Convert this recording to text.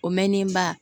O mɛnni ba